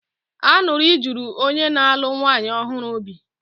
Aṅụrị juru onye na-alụ nwanyị ọhụrụ obi.